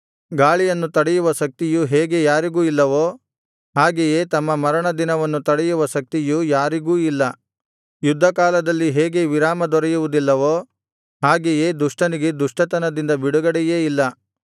ಗಾಳಿಯನ್ನು ತಡೆಯುವ ಶಕ್ತಿಯು ಹೇಗೆ ಯಾರಿಗೂ ಇಲ್ಲವೋ ಹಾಗೆಯೇ ತಮ್ಮ ಮರಣ ದಿನವನ್ನು ತಡೆಯುವ ಶಕ್ತಿಯು ಯಾರಿಗೂ ಇಲ್ಲ ಯುದ್ಧ ಕಾಲದಲ್ಲಿ ಹೇಗೆ ವಿರಾಮ ದೊರೆಯುವುದಿಲ್ಲವೋ ಹಾಗೆಯೇ ದುಷ್ಟನಿಗೆ ದುಷ್ಟತನದಿಂದ ಬಿಡುಗಡೆಯೇ ಇಲ್ಲ